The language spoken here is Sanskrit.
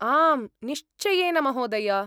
आम् निश्चयेन महोदय।